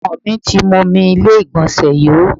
Ọmọ mi ti mú omi ilé ìgbọ̀nsẹ̀ yó.